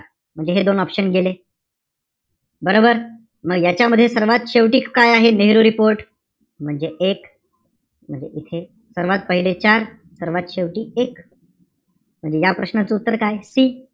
म्हणजे हे दोन option गेले. बरोबर? म यांच्यामध्ये सर्वात शेवटी काय आहे? नेहरू report म्हणजे एक. म्हणजे इथे, सर्वात पहिले चार, सर्वात शेवटी एक. म्हणजे या प्रश्नाचं उत्तर काय? C